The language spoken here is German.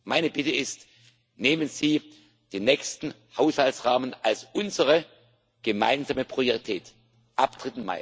vor. Meine Bitte ist Nehmen Sie den nächsten Haushaltsrahmen als unsere gemeinsame Priorität